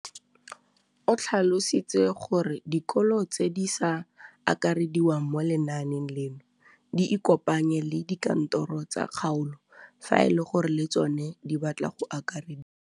O tlhalositse gore dikolo tse di sa akarediwang mo lenaaneng leno di ikopanye le dikantoro tsa kgaolo fa e le gore le tsona di batla go akarediwa.